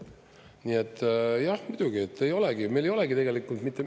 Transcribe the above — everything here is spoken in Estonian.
Nii et, jah, muidugi, meil ei olegi tegelikult mitte …